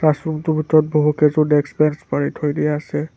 Classroom টোৰ ভিতৰত বহুকেযো ডেস্ক বেঞ্চ পাৰি থৈ দিয়া আছে।